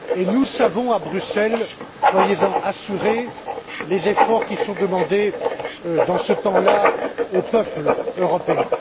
Nous savons à Bruxelles, soyez en assurés, les efforts qui sont demandés dans ce temps là aux peuples européens.